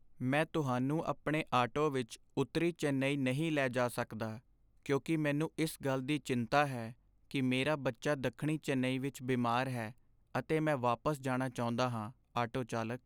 ਮੈਂ ਤੁਹਾਨੂੰ ਆਪਣੇ ਆਟੋ ਵਿੱਚ ਉੱਤਰੀ ਚੇਨੱਈ ਨਹੀਂ ਲੈ ਜਾ ਸਕਦਾ ਕਿਉਂਕਿ ਮੈਨੂੰ ਇਸ ਗੱਲ ਦੀ ਚਿੰਤਾ ਹੈ ਕੀ ਮੇਰਾ ਬੱਚਾ ਦੱਖਣੀ ਚੇਨਈ ਵਿੱਚ ਬਿਮਾਰ ਹੈ ਅਤੇ ਮੈਂ ਵਾਪਸ ਜਾਣਾ ਚਾਹੁੰਦਾ ਹਾਂ ਆਟੋ ਚਾਲਕ